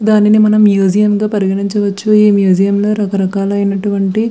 దాని మనం మ్యూసియం గ పరిగణించ వచ్చు ఆ మ్యూసియం లో రాకరాక లైన అటు వంటి --